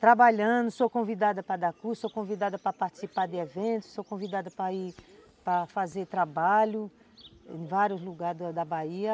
Trabalhando, sou convidada para dar curso, sou convidada para participar de eventos, sou convidada para ir para fazer trabalho em vários lugares da Bahia.